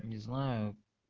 не знаю